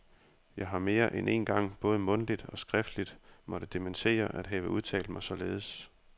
Jeg har mere end én gang både mundtligt og skriftligt måtte dementere at have udtalt mig således.